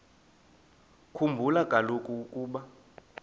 khumbula kaloku ukuba